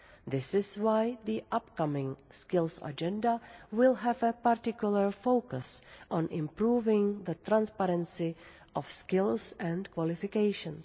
This is why the upcoming Skills Agenda will have a particular focus on improving the transparency of skills and qualifications.